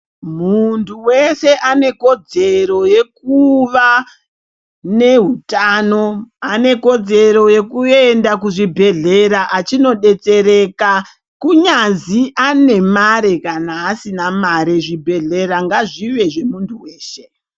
Muntu weshe anekodzero yekuva nehutano, anekodzero yekuenda kuchibhedhlera achindodetsereka. Kunyazi ane mare kana asina mare, zvibhedhlera ngazvive zvemuntu wehe.